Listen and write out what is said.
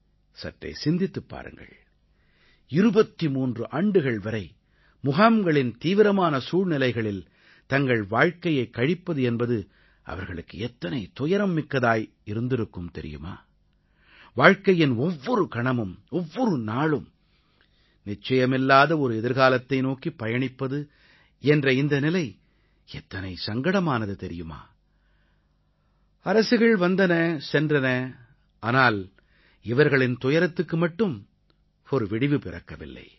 சற்றே சிந்தித்துப் பாருங்கள் 23 ஆண்டுகள் வரை முகாம்களின் தீவிரமான சூழ்நிலைகளில் தங்கள் வாழ்க்கையைக் கழிப்பது என்பது அவர்களுக்கு எத்தனை துயரம் மிக்கதாக இருந்திருக்கும் தெரியுமா வாழ்க்கையின் ஒவ்வொரு கணமும் ஒவ்வொரு நாளும் நிச்சயமில்லாத ஒரு எதிர்காலத்தை நோக்கிப் பயணிப்பது என்ற இந்த நிலை எத்தனை சங்கடமானது தெரியுமா அரசுகள் வந்தன சென்றன ஆனால் இவர்களின் துயரத்துக்கு மட்டும் ஒரு விடிவு பிறக்கவில்லை